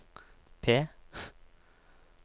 P